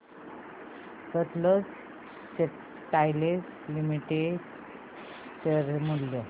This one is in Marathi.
सतलज टेक्सटाइल्स लिमिटेड चे शेअर मूल्य